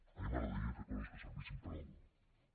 a mi m’agradaria fer coses que servissin per a alguna cosa